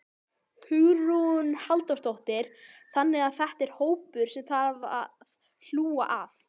Hugrún Halldórsdóttir: Þannig að þetta er hópur sem að þarf að hlúa að?